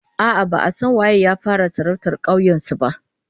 A'a, ba'a san waye ya fara sarautar kauyen su ba